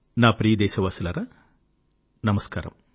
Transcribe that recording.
నా ప్రియ దేశవాసులారా నమస్కారము